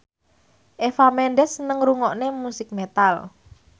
Eva Mendes seneng ngrungokne musik metal